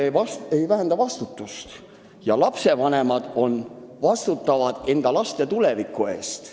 Jah, seaduse mittetundmine ei vähenda vastutust ja lapsevanemad vastutavad enda laste tuleviku eest.